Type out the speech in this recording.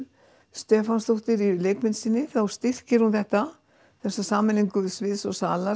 Stefánsdóttir í leikmynd sinni þá styrkir hún þetta sameiningu sviðs og salar